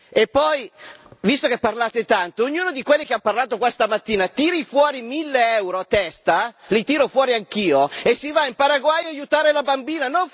E poi, visto che parlate tanto, ognuno di quelli che ha parlato questa mattina, tiri fuori mille euro a testa, li tiro fuori anch'io e si va in Paraguay ad aiutare la bambina.